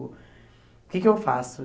O que que eu faço?